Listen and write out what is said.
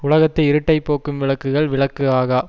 உலகத்து இருட்டைப் போக்கும் விளக்குகள் விளக்கு ஆகா